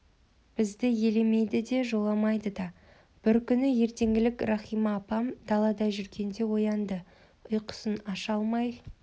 бізді елемейді де жоламайды да бір күні ертеңгілік рахима апам далада жүргенде оянды ұйқысын аша алмай